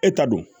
E ta don